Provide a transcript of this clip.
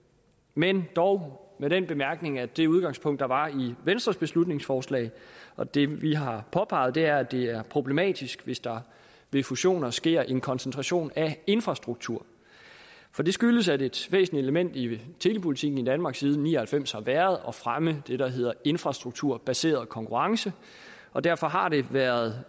men dog med den bemærkning at det udgangspunkt der var i venstres beslutningsforslag og det vi har påpeget er at det er problematisk hvis der ved fusioner sker en koncentration af infrastruktur for det skyldes at et væsentligt element i telepolitikken i danmark siden nitten ni og halvfems har været at fremme det der hedder infrastrukturbaseret konkurrence og derfor har det været